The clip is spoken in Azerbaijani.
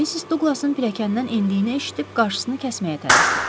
Missis Duqlasın pilləkəndən endiyini eşidib qarşısını kəsməyə tələsdim.